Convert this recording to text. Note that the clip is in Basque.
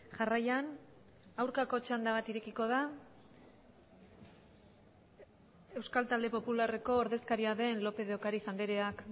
jarraian aurkako txanda bat irekiko da euskal talde popularreko ordezkaria den lópez de ocariz andreak